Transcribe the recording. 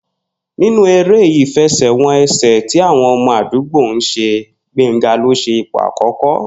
Nínú eré ìfe̩sè̩-wo̩n-e̩sè̩ tí àwo̩n o̩mo̩ àdúgbò ń s̩e, Gbénga ló s̩e ipò àkó̩kó̩